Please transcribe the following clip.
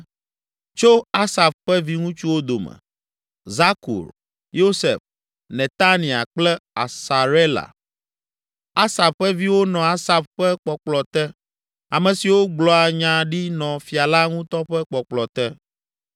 Tso Asaf ƒe viŋutsuwo dome: Zakur, Yosef, Netania kple Asarela. Asaf ƒe viwo nɔ Asaf ƒe kpɔkplɔ te, ame siwo gblɔa nya ɖi nɔ fia la ŋutɔ ƒe kpɔkplɔ te.